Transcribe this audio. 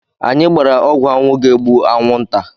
Anyị gbara ọgwụ anwụ ga egbu anwụ nta